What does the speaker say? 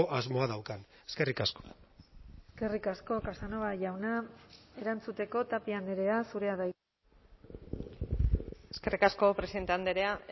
asmoa daukan eskerrik asko eskerrik asko casanova jauna erantzuteko tapia andrea zurea da hitza eskerrik asko presidente andrea